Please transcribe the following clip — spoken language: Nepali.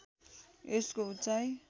यसको उचाइ